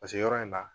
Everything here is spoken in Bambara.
Paseke yɔrɔ in na